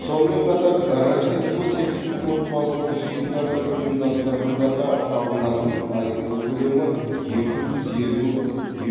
сонымен қатар рождество секілді отбасылық жиындарды ұйымдастырғандарға салынатын айыппұл көлемі екі жүз елу